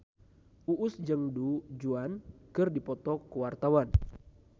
Uus jeung Du Juan keur dipoto ku wartawan